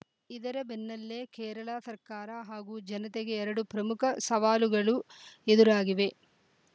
ಇದರ ಬೆನ್ನಲ್ಲೇ ಕೇರಳ ಸರ್ಕಾರ ಹಾಗೂ ಜನತೆಗೆ ಎರಡು ಪ್ರಮುಖ ಸವಾಲುಗಳು ಎದುರಾಗಿವೆ